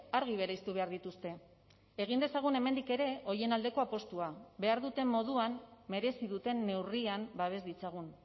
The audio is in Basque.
argi bereiztu behar dituzte egin dezagun hemendik ere horien aldeko apustua behar duten moduan merezi duten neurrian babes ditzagun